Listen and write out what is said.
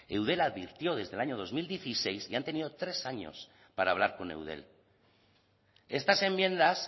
eudel advirtió desde el año dos mil dieciséis y han tenido tres años para hablar con eudel estas enmiendas